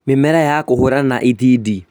Mĩmera ya kũhũrana na itindiĩ